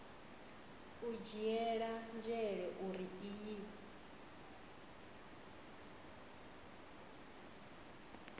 u dzhiela nzhele uri iyi